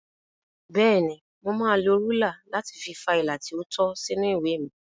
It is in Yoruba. Bẹ́ẹ̀ni, mo máa lo rúlà láti fa ilà tí ó tọ́ sínú ìwé mi.